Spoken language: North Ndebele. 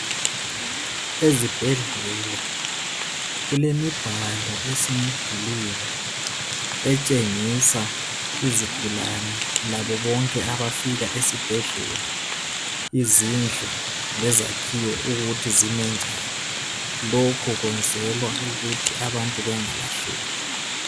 Ezibhedlela kulemibhalo esemidulwini etshengisa izigulani labo bonke abafika esibhedlela izindlu lezakhiwo ukuthi zime njani. Lokhu kwenzela ukuthi abantu bengalahleki.